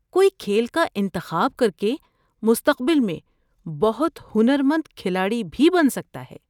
کوئی کھیل کا انتخاب کر کے مستقبل میں بہت ہنرمند کھلاڑی بھی بن سکتا ہے۔